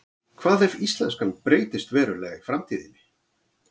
hvað ef íslenskan breytist verulega í framtíðinni